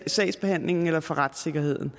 sagsbehandlingen eller for retssikkerheden